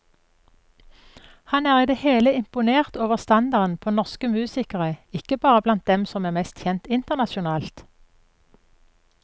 Han er i det hele imponert over standarden på norsk musikere, ikke bare blant dem som er mest kjent internasjonalt.